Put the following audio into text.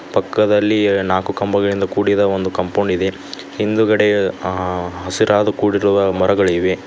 ಪಕ್ಕದಲ್ಲಿ ನಾಲ್ಕು ಕಂಬಗಳಿಂದ ಕೂಡಿದ ಒಂದು ಕಂಪೌಂಡ್ ಇದೆ ಹಿಂದುಗಡೆ ಆ ಹಸಿರಾದ ಕೂಡಿರುವ ಮರಗಳಿವೆ.